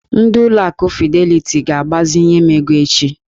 Ndị ụlọ akụ fideliti ga-agbazinye m ego echi.